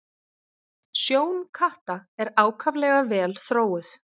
Sjón katta er ákaflega vel þróuð.